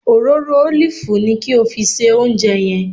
Òróró ólìfù ni kí o fi se oúnjẹ yẹn